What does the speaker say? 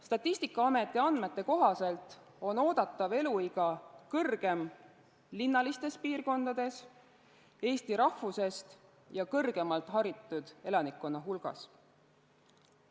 Statistikaameti andmete kohaselt on oodatav eluiga pikem linnalistes piirkondades, eesti rahvusest ja kõrgemalt haritud elanikkonna hulgas.